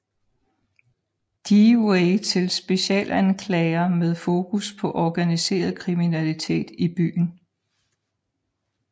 Dewey til specialanklager med fokus på organiseret kriminalitet i byen